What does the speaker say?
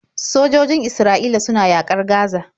Sojojin Isra'ila suna yaƙar Gaza.